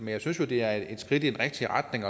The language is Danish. jeg synes jo det er et skridt i den rigtige retning